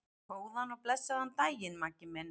Góðan og blessaðan daginn, Maggi minn.